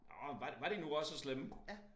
Nåh men var var de nu også så slemme?